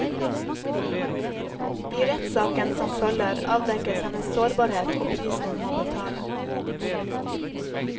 I rettssaken som følger, avdekkes hennes sårbarhet og prisen hun må betale.